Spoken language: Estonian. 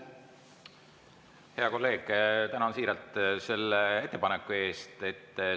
Hea kolleeg, tänan siiralt selle ettepaneku eest!